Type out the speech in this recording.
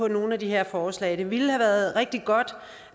nogle af de her forslag bunkebryllup det ville have været rigtig godt